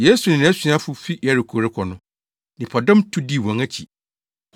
Yesu ne nʼasuafo fi Yeriko rekɔ no, nnipadɔm tu dii wɔn akyi.